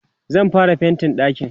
zan fara faintin ɗakin